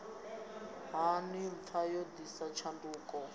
hani pfma yo ḓisa tshanduko